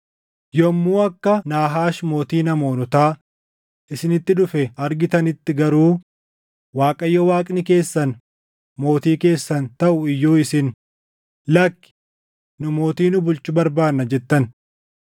“Yommuu akka Naahaash mootiin Amoonotaa isinitti dhufe argitanitti garuu, Waaqayyo Waaqni keessan mootii keessan taʼu iyyuu isin, ‘Lakki; nu mootii nu bulchu barbaannaa’ jettan.